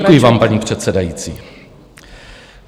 Děkuji vám, paní předsedající.